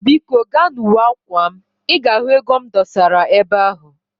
Biko gaa na uwe akwa m, i ga ego m dosara ebe ahu